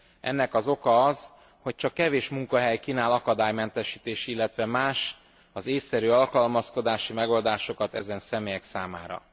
Ennek az oka az, hogy csak kevés munkahely kínál akadálymentesítési, illetve más ésszerű alkalmazkodási megoldásokat ezen személyek számára.